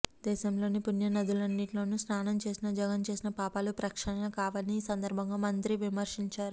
దేశంలోని పుణ్య నదులన్నింటిలో స్నానం చేసినా జగన్ చేసిన పాపాలు ప్రక్షాళన కావని ఈ సందర్భంగా మంత్రి విమర్శించారు